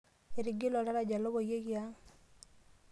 Etigile oltaraja lopoyieki ang.